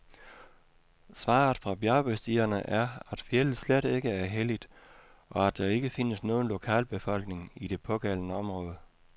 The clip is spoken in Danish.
Svaret fra bjergbestigerne er, at fjeldet slet ikke er helligt, og at der ikke findes nogen lokalbefolkning i det pågældende område.